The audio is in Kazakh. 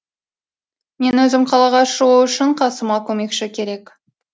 мен өзім қалаға шығу үшін қасыма көмекші керек